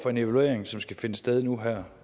for en evaluering som skal finde sted nu her